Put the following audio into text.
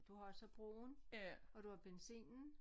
Du har også broen og du har benzinen